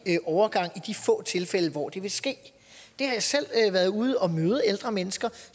overgang i de få tilfælde hvor det vil ske jeg har selv været ude og møde ældre mennesker